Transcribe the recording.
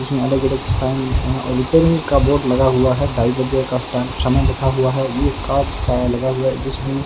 जिसमें अलग-अलग साइन और रिपेयरिंग का बोर्ड लगा हुआ है ढाई बजे का स्थान समय लिखा हुआ है ये कांच का लगा हुआ है जिसमें --